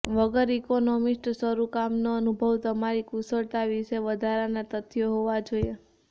વગર ઇકોનોમિસ્ટ શરૂ કામનો અનુભવ તમારી કુશળતા વિશે વધારાની તથ્યો હોવા જોઈએ